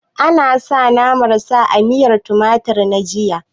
A nasa naman sa a miyan tumatir na jiya